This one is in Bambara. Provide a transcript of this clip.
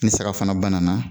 Ni sira fana ba nana.